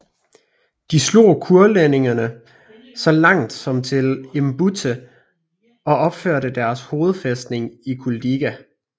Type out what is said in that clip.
De slog kurlændingene så langt som til Embūte og opførte deres hovedfæstning i Kuldīga